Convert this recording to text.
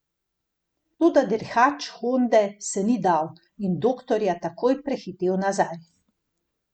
Toda dirkač Honde se ni dal in Doktorja takoj prehitel nazaj.